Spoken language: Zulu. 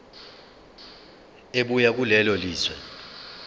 ebuya kulelo lizwe